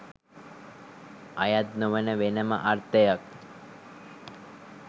අයත් නොවන වෙනම අර්ථයක්